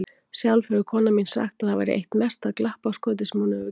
Sjálf hefur konan mín sagt að það væri eitt mesta glappaskotið sem hún hefur gert.